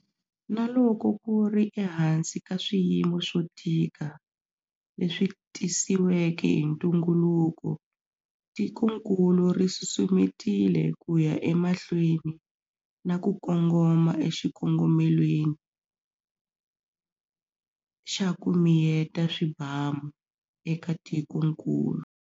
Na loko ku ri ehansi ka swiyimo swo tika leswi tisiweke hi ntunguluko, tikokulu ri susumetile ku ya emahlweni na ku kongoma eka xikongomelo xa 'ku miyeta swibamu'eka tikokulu.